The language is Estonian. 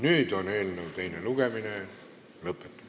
Nüüd on eelnõu teine lugemine lõpetatud.